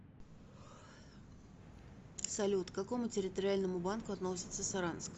салют к какому территориальному банку относится саранск